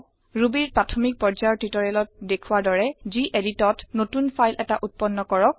Rubyৰ প্ৰাথমিক পৰ্যায়ৰ টিউটৰিয়েলত দেখুৱা দৰে geditত নতুন ফাইল এটা উত্পন্ন কৰক